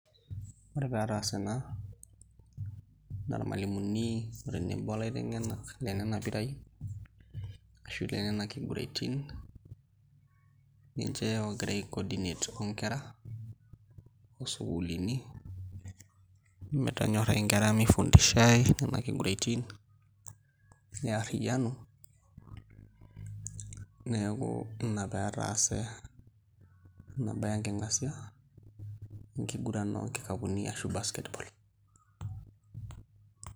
Ore pee etaase ena naa irmalimuni o tenebo olaiteng'enak le nena piraai ashu le nena kiguraitin ninche oogira aicordinate onkera oo sukuulini metonyorrai inkera mifundishai nena kiguraitin nearriyianu, neeku ina pee etaase ena baye enking'asia enkiguran o nkikapuni ashu basket ball.